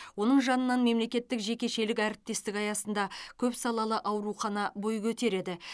оның жанынан мемлекеттік жекешелік әріптестік аясында көпсалалы аурухана бой көтереді